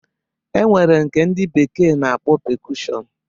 E nwere nke ndi bekee na-akpọ pekushọn